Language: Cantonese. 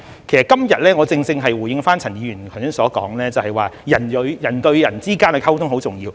其實今天我正正是回應陳議員剛才所說，就是"人對人"的溝通很重要。